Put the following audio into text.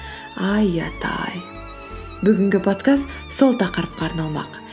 ай ұят ай бүгінгі подкаст сол тақырыпқа арналмақ